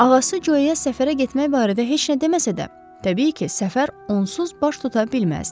Ağası Co-yə səfərə getmək barədə heç nə deməsə də, təbii ki, səfər onsuz baş tuta bilməzdi.